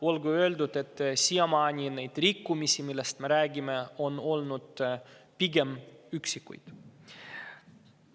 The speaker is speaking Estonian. Olgu öeldud, et siiamaani on neid rikkumisi, millest me räägime, olnud pigem üksikuid.